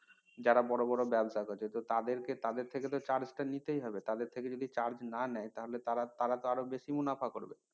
যারা বড় বড় ব্যবসা করে তাদের কে তাদের থেকে তো charge টা নিতেই হবে তাদের থেকে যদি charge না নেয় তাহলে তারাতো আরো বেশি মুনাফা করবে